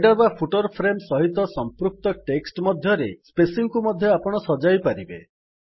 header ବା footer frame ସହିତ ସମ୍ପୃକ୍ତ ଟେକ୍ସଟ୍ ମଧ୍ୟରେ ସ୍ପେସିଙ୍ଗ୍ କୁ ମଧ୍ୟ ଆପଣ ସଜାଇ ପାରିବେ